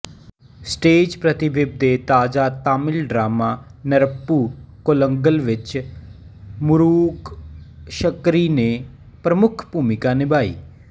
stage ਪ੍ਰਤੀਬਿੰਬ ਦੇ ਤਾਜ਼ਾ ਤਾਮਿਲ ਡਰਾਮਾ ਨੇਰੱਪੂ ਕੋਲੰਗਲ ਵਿੱਚ ਮੁਰੂਗਸ਼ੰਕਰੀ ਨੇ ਪ੍ਰਮੁੱਖ ਭੂਮਿਕਾ ਨਿਭਾਈ